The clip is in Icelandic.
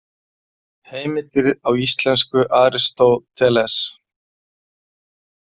Heimildir á íslensku Aristóteles.